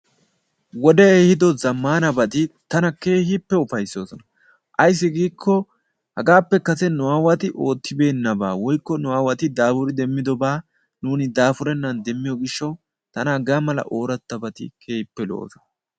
Wodee ehiido zaammanabati tana keehippe upaysoosona. Ayssi giikk hagappe kase nu aawati oottibenabaa woykko nu aawati daapuridi demmidoobaa nuuni daapurennan demiiyoo giishshawu tana hagaa mala orattabaati keehippe lo"oosona.